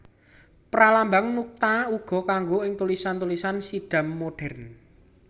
Pralambang nuqta uga kanggo ing tulisan tulisan Siddham modhèren